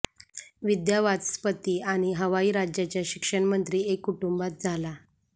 विद्यावाचस्पती आणि हवाई राज्याच्या शिक्षण मंत्री एक कुटुंबात झाला